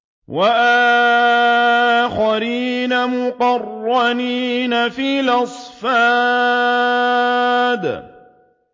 وَآخَرِينَ مُقَرَّنِينَ فِي الْأَصْفَادِ